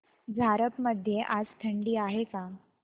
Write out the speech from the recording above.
झारप मध्ये आज थंडी आहे का